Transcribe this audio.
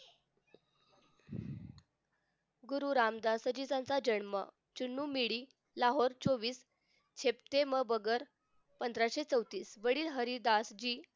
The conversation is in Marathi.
गुरु रामदासाचा जन्म चूना मंडी लाहोर चोवीस हॅप्टेंबगर पंधराशे चौतीस वडील हरिदासजी